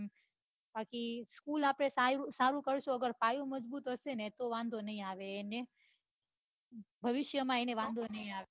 પછી school આપડે સારું કરશો અગર પાયો મજબુત હશે ને તો વાંઘો ની આવે એને ભવિષ્ય માં એને વાંઘો ની આવે